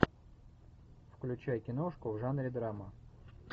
включай киношку в жанре драма